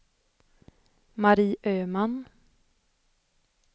Marie Öhman